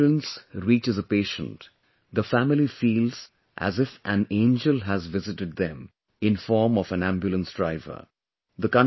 When an Ambulance reaches a patient, the family feels as if an angel has visited them in form of an Ambulance Driver